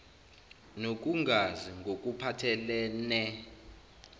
nokungazi ngokuphathel ene